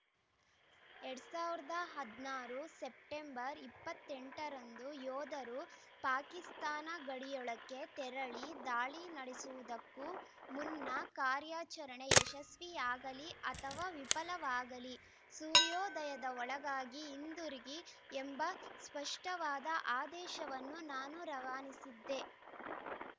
ಎರಡ್ ಸಾವಿರದ ಹದಿನಾರು ಸೆಪ್ಟೆಂಬರ್‌ ಇಪ್ಪತ್ತ್ ಎಂಟ ರಂದು ಯೋಧರು ಪಾಕಿಸ್ತಾನ ಗಡಿಯೊಳಕ್ಕೆ ತೆರಳಿ ದಾಳಿ ನಡೆಸುವುದಕ್ಕೂ ಮುನ್ನ ಕಾರ್ಯಾಚರಣೆ ಯಶಸ್ವಿಯಾಗಲಿ ಅಥವಾ ವಿಫಲವಾಗಲಿ ಸೂರ್ಯೋದಯದ ಒಳಗಾಗಿ ಹಿಂದುರುಗಿ ಎಂಬ ಸ್ಪಷ್ಟವಾದ ಆದೇಶವನ್ನು ನಾನು ರವಾನಿಸಿದ್ದೆ